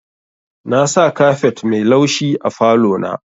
Nasa kafet mai laushi a falo na.